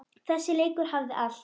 Þessi leikur hafði allt.